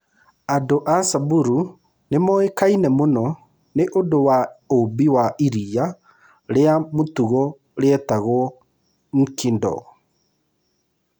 Andũ a Samburu nĩ moĩkaine mũno nĩ ũndũ wa ũũmbi wa iria rĩa mũtugo rĩetagwo nkidong.